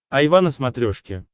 айва на смотрешке